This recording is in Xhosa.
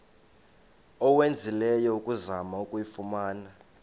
owenzileyo ukuzama ukuyifumana